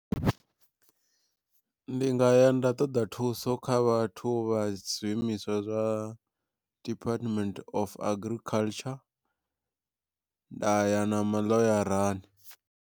Ndi nga ya nda ṱoḓa thuso kha vhathu vha zwiimiswa zwa Department Of Agriculture nda ya na maḽoyarani.